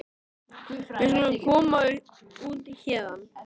Við skulum koma okkur út héðan.